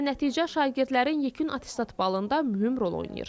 Nəticə şagirdlərin yekun attestat balında mühüm rol oynayır.